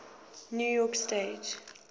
new york stage